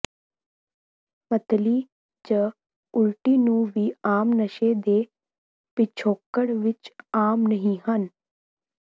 ਮਤਲੀ ਜ ਉਲਟੀ ਨੂੰ ਵੀ ਆਮ ਨਸ਼ੇ ਦੇ ਪਿਛੋਕੜ ਵਿੱਚ ਆਮ ਨਹੀ ਹਨ